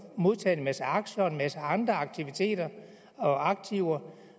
modtaget en masse aktier og en masse andre aktiviteter og aktiver